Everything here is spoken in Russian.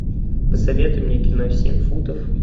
посоветуй мне кино семь футов